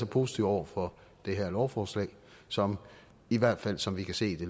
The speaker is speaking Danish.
positive over for det her lovforslag som i hvert fald som vi kan se det